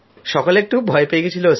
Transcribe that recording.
সকলে একটু ভয় পেয়ে গিয়েছিল